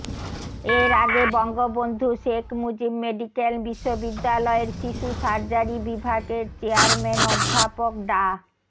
এর আগে বঙ্গবন্ধু শেখ মুজিব মেডিক্যাল বিশ্ববিদ্যালয়ের শিশু সার্জারি বিভাগের চেয়ারম্যান অধ্যাপক ডা